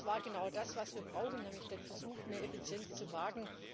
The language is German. Das war genau das, was wir brauchen, nämlich den Versuch, mehr Effizienz zu wagen.